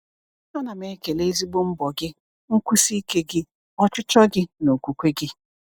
A na m ekele ezigbo mbọ gị, nkwụsi ike gị, ọchịchọ gị, na okwukwe gị.